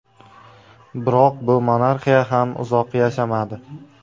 Biroq bu monarxiya ham uzoq yashamadi.